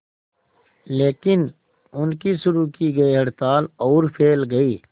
लेकिन उनकी शुरू की गई हड़ताल और फैल गई